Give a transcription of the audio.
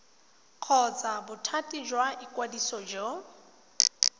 kgotsa bothati jwa ikwadiso go